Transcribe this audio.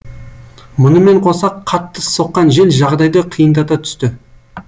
мұнымен қоса қатты соққан жел жағдайды қиындата түсті